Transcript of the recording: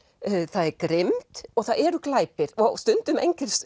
það er grimmd og það eru glæpir og stundum